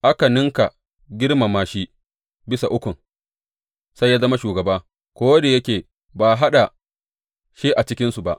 Aka ninka girmama shi bisa Ukun, sai ya zama shugaba, ko da yake ba a haɗa shi a cikinsu ba.